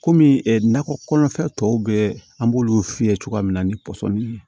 Kɔmi nakɔ kɔnɔna fɛn tɔw bɛ an b'olu f'i ye cogoya min na ni pɔsɔni ye